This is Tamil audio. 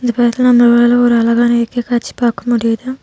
ஒரு அழகான இயற்கை காட்சி முடிது.